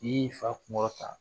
I yi fa kun kɔrɔtan.